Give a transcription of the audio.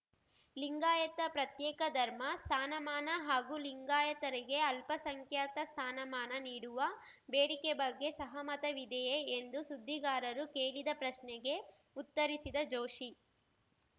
ಲಿಂಗಾಯತ ಪ್ರತ್ಯೇಕ ಧರ್ಮ ಸ್ಥಾನಮಾನ ಹಾಗೂ ಲಿಂಗಾಯತರಿಗೆ ಅಲ್ಪಸಂಖ್ಯಾತ ಸ್ಥಾನಮಾನ ನೀಡುವ ಬೇಡಿಕೆ ಬಗ್ಗೆ ಸಹಮತವಿದೆಯೇ ಎಂದು ಸುದ್ದಿಗಾರರು ಕೇಳಿದ ಪ್ರಶ್ನೆಗೆ ಉತ್ತರಿಸಿದ ಜೋಶಿ